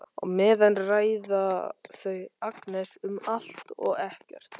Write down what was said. Á meðan ræða þau Agnes um allt og ekkert.